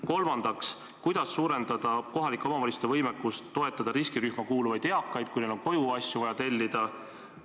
Kolmandaks, kuidas suurendada kohalike omavalitsuste võimekust toetada riskirühma kuuluvaid eakaid, kui neil on vaja koju asju tellida?